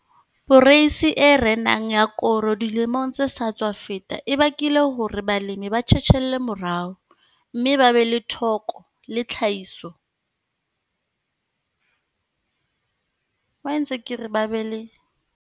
Poreisi e renang ya koro dilemong tse sa tswa feta e bakile hore balemi ba tjhetjhelle morao, mme ba be thoko le tlhahiso ya koro ya mariha.